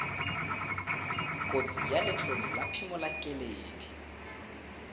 kotsi ya letlole la phimolakeledi